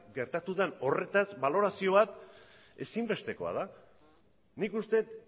gertatu den horretaz balorazio bat ezinbestekoa da nik uste dut